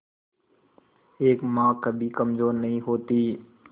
एक मां कभी कमजोर नहीं होती